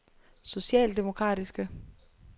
socialdemokratiske